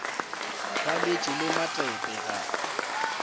ba letšeke le matepe ga